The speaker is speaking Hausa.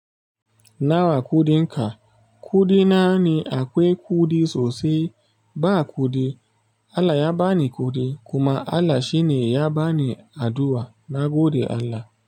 Nawa kuɗinka? Kuɗina ni akwai kuɗi sosai, ba kuɗi. Allah ya bani ƙudi kuma Allah shine ya bani addu'a. Nagode Allah.